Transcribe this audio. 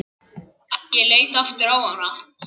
Stundum gamall hundur.